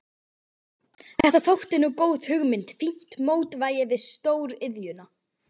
Þetta þótti nú góð hugmynd, fínt mótvægi við stór iðjuna.